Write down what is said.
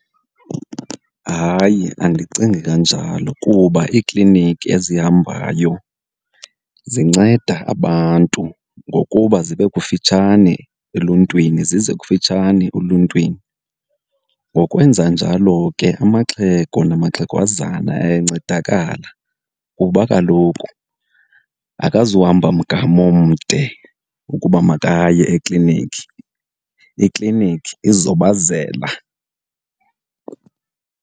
Hayi, andicingi kanjalo kuba iikliniki ezihambayo zinceda abantu ngokuba zibe kufitshane eluntwini, zize kufitshane oluntwini. Ngokwenza njalo ke amaxhego namaxhegwazana ayancedakala kuba kaloku akazuhamba mgama omde ukuba makaye ekliniki, ikliniki izobazela.